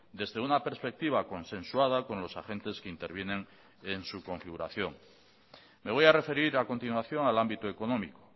desde una perspectiva consensuada con los agentes que intervienen en su configuración me voy a referir a continuación al ámbito económico